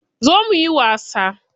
Zo muyi wasa.